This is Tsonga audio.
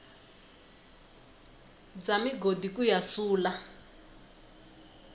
bya migodi ku ya sula